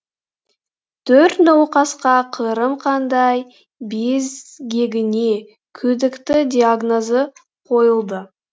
төрт науқасқа қырым қандай безгегіне күдікті диагнозы қойылды